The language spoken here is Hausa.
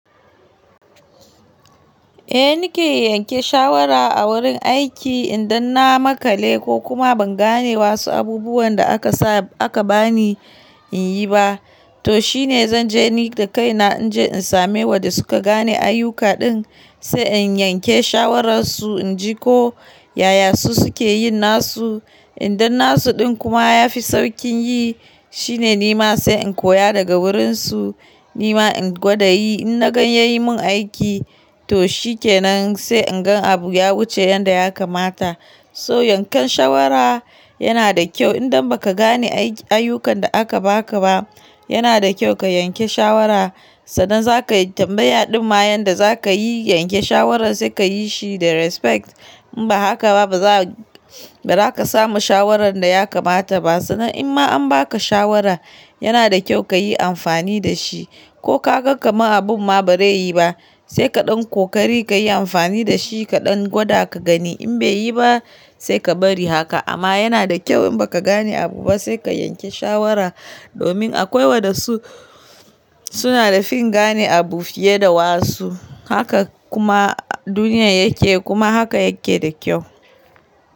Eh nike yanke shawara a wurin aiki idan na makale ko kuma ban gane wasu abubuwan da aka sa aka bani in yi ba, to shine zan je ni da kaina in je in same waɗanda suka gane ayyuka din sai in yanke shawararsu in ji ko yaya su suke yin nasu. Idan nasu din kuma yafi saukin yi shine nima sai in koya daga wurinsu nima in gwada yi. In na gan ya yi mun aiki to shikenan sai in gan abu ya wuce yanda ya kamata. So yankan shawara yana da kyau idan baka gane ayyukan da aka baka ba yana da kyau ka yanke shawara sannan za ka yi tambaya din ma yanda za ka yi yanke shawarar sai ka yi shi da respect. In ba haka ba baza baza ka samu shawarar da ya kamata ba sannan in ma an baka shawara yana da kyau ka yi amfani da shi ko ka gan kama abun ma ba zai yi ba sai kaɗan kokari ka yi amfani da shi kaɗan gwada ka gani in bai yi ba sai ka bari haka. Amma yana da kyau in baka gane abu ba sai ka yanke shawara domin akwai waɗansu suna da fin gane abu fiye da wasu. Haka kuma duniya yake kuma haka yake da kyau.